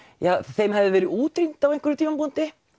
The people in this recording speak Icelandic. þeim hefði verið útrýmt á einhverjum tímapunkti